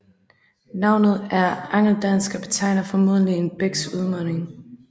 Navnet er angeldansk og betegner formodentlig en bæks udmunding